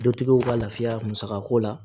Dutigiw ka lafiya musakako la